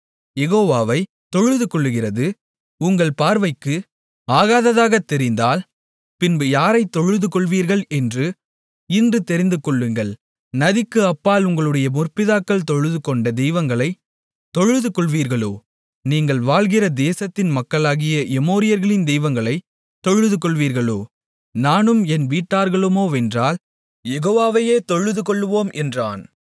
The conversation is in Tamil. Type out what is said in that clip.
யெகோவாவைத் தொழுதுகொள்கிறது உங்கள் பார்வைக்கு ஆகாததாகத் தெரிந்தால் பின்பு யாரைத் தொழுதுகொள்வீர்கள் என்று இன்று தெரிந்துகொள்ளுங்கள் நதிக்கு அப்பால் உங்களுடைய முற்பிதாக்கள் தொழுதுகொண்ட தெய்வங்களைத் தொழுதுகொள்வீர்களோ நீங்கள் வாழ்கின்ற தேசத்தின் மக்களாகிய எமோரியர்களின் தெய்வங்களைத் தொழுதுகொள்வீர்களோ நானும் என் வீட்டார்களுமோவென்றால் யெகோவாவையே தொழுதுகொள்ளுவோம் என்றான்